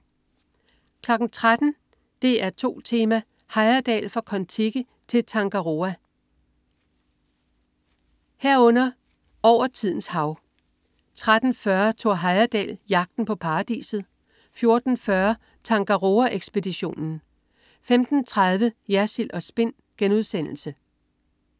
13.00 DR2 Tema: Heyerdahl Fra Kon Tiki til Tangaroa 13.00 Kon Tiki. over tidens hav 13.40 Thor Heyerdahl Jagten på paradiset 14.40 Tangaroa-ekspeditionen 15.30 Jersild & Spin*